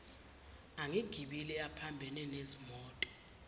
angegibele aphambane nezimoto